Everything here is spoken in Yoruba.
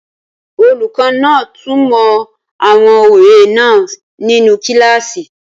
Olùkọ́ náà túnmọ̀ àwọn òwe náà nínu kílásì